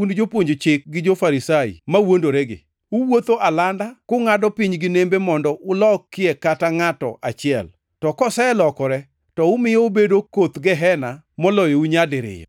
un jopuonj chik gi jo-Farisai mawuondoregi! Uwuotho alanda, kungʼado piny gi nembe mondo ulokie kata ngʼato achiel, to koselokore to umiyo obedo koth Gehena moloyou nyadiriyo.